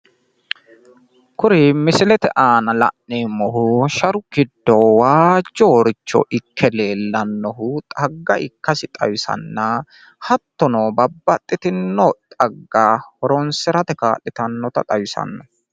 kuri misilete aana la'neemmohu sharu giddo waajjoricho ikke leellannohu xagga ikkasi xawisanna hattono babaxitino xagga horonsirate kaa'litannota xawisanno.